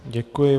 Děkuji.